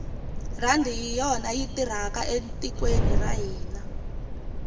rhandi hi yona yi tirhaka etikweni ra hina